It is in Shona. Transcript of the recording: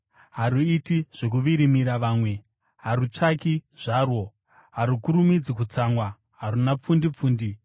Haruiti zvokuvirimira vamwe, harutsvaki zvarwo, harukurumidzi kutsamwa, haruna pfundi pfundi.